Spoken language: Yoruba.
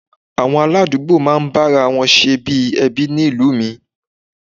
Àwọn aládùúgbò máa ń bára wọn ṣe bí ẹbí ni ìlú mi